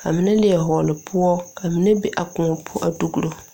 ka mine leɛ hɔɔle poɔ ka mine be a kõɔ poɔ dugro.